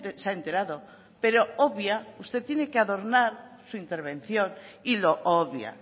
se ha enterado pero obvia pero usted tiene que adornar su intervención y lo obvia